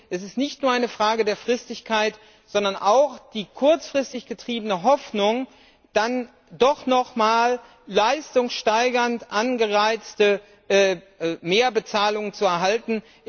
Es ist nicht nur eine Frage der Fristigkeit, sondern es betrifft auch die kurzfristig getriebene Hoffnung, dann doch noch einmal eine leistungssteigernd angereizte Mehrbezahlung zu erhalten.